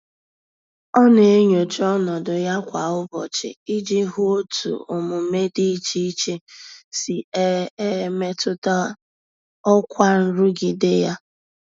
Ọ na-enyocha ọnọdụ ya kwa ụbọchị iji hụ otu omume dị iche iche si e e metụta ọkwa nrụgide ya.